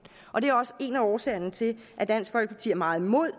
og det er også en af årsagerne til at dansk folkeparti er meget imod